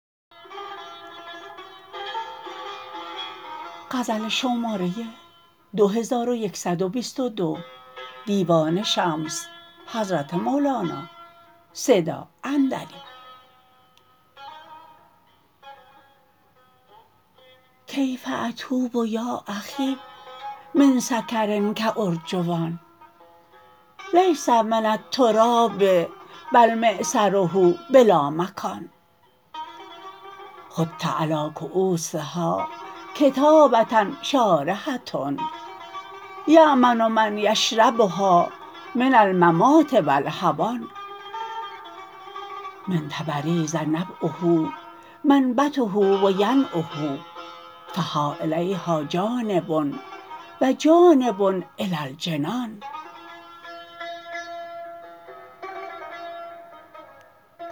کیف اتوب یا اخی من سکر کارجوان لیس من التراب بل معصره بلا مکان خط علی کوسها کتابه شارحه یا من من یشربها من الممات و الهوان من تبریز نبعه منبته و ینعه فها الیها جانب و جانب الی الجنان